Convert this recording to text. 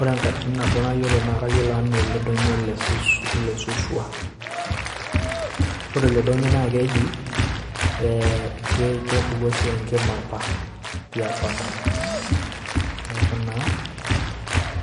Ore enkatini nabo nayiolo na kayiolo ena eledonyio lesuswa, ore ilo doinyio na keji kepuku apa enkima tiapa neaku